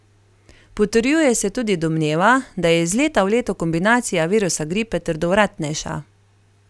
Potrjuje se tudi domneva, da je iz leta v leto kombinacija virusa gripe trdovratnejša.